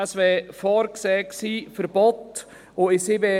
Es wäre ein Verbot vorgesehen gewesen.